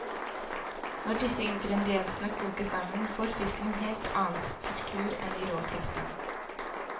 Når disse ingrediensene kokes sammen, får fisken en helt annen struktur enn i rå tilstand.